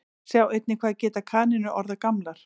Sjá einnig Hvað geta kanínur orðið gamlar?